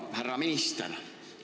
Hea härra minister!